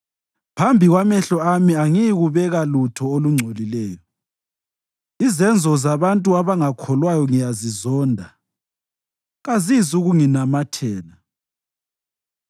Phambi kwamehlo ami angiyikubeka lutho olungcolileyo. Izenzo zabantu abangakholwayo ngiyazizonda; kazizukunginamathela.